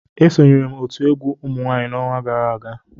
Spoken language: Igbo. Esonyere m otu egwu umunwanyị n'ọnwa gara aga